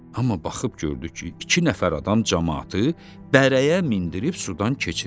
Amma baxıb gördü ki, iki nəfər adam camaatı bərəyə mindirib sudan keçirir.